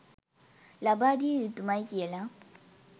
ලබා දිය යුතුමයි කියලා.